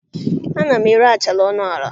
Ana m ere achara ọnụ ala.